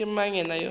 ke mang yena yoo a